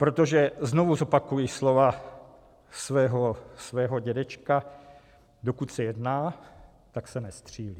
Protože znovu zopakuji slova svého dědečka: dokud se jedná, tak se nestřílí.